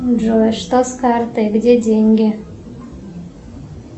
джой что с картой где деньги